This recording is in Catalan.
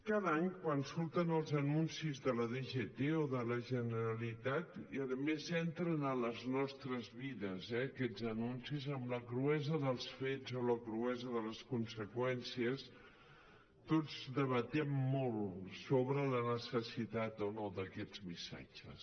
cada any quan surten els anuncis de la dgt o de la generalitat a més entren a les nostres vides eh aquests anuncis amb la cruesa dels fets o la cruesa de les conseqüències tots debatem molt sobre la necessitat o no d’aquests missatges